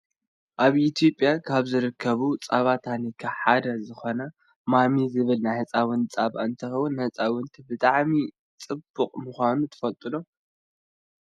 ኣብ ኢትዮጵያ ካብ ዝርከቡ ፃባ ታኒካ ሓደ ዝኮነ ማሚ ዝብል ናይ ህፃውንቲ ፃባ እንትከውን ንህፃውንቲ ብጣዕሚ ፅቡቅ ምኳኑ ትፈልጡ ዶ ?